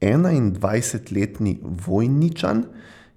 Enaindvajsetletni Vojničan